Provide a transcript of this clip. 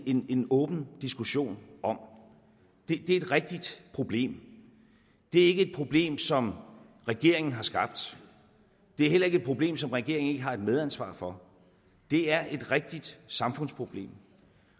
en en åben diskussion om det er et rigtigt problem det er ikke et problem som regeringen har skabt det er heller ikke et problem som regeringen ikke har et medansvar for det er et rigtigt samfundsproblem